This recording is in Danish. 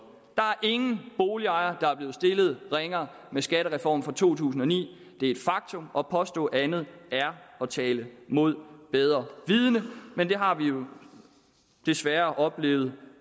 er ingen boligejere der er blevet stillet ringere med skattereformen fra to tusind og ni det er et faktum og at påstå andet er at tale mod bedre vidende men det har vi jo desværre oplevet